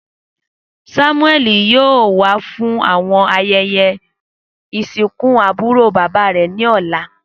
Samueli yoo wa fun awọn ayẹyẹ isinku aburo baba rẹ ni ọla.